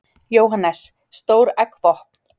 Jóhannes: Stór eggvopn?